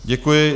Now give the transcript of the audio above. Děkuji.